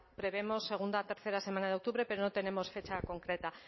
prevemos segunda tercera semana de octubre pero no tenemos fecha concreta